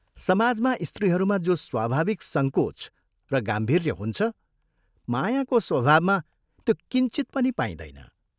समाजमा स्त्रीहरूमा जो स्वाभाविक संकोच र गाम्भीर्य हुन्छ मायाको स्वभावमा त्यो किंचित पनि पाइँदैन।